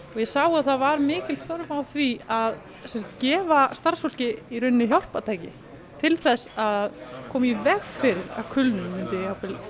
og ég sá að það var mikil þörf á því að gefa starfsfólki hjálpartæki til þess að koma í veg fyrir að kulnun myndi